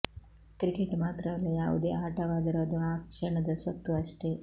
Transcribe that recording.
cricket ಮಾತ್ರವಲ್ಲ ಯಾವುದೇ ಆಟವಾದರೂ ಅದು ಆ ಕ್ಷಣದ ಸ್ವತ್ತು ಅಷ್ಟೇ